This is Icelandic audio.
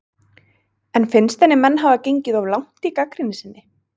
En finnst henni menn hafa gengið of langt í gagnrýni sinni?